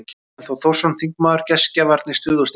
Willum Þór Þórsson, þingmaður: Gestgjafarnir, stuð og stemning.